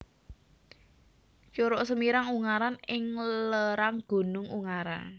Curug Semirang Ungaran ing lerang Gunung Ungaran